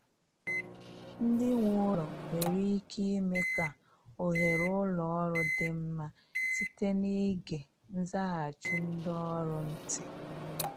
Ndị nwe ụlọ nwere ike ime ka oghere ụlọ ọrụ dị mma site n’ịge nzaghachi ndị ọrụ ntị